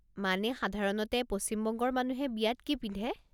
মানে সাধাৰণতে পশ্চিমবঙ্গৰ মানুহে বিয়াত কি পিন্ধে?